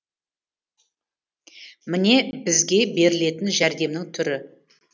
міне бізге берілетін жәрдемнің түрі